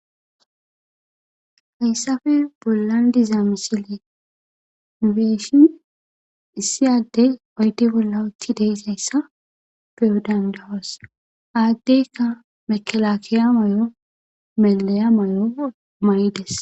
hayssafe bollan dizaa misile beeshin issi adde ayddi bolla utti deezayssa beodangawas aaddeyka mekelakiya may7o melaya mayo maydes